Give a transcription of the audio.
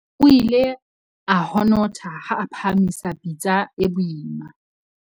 O ile a honotha ha a phahamisa pitsa e boima.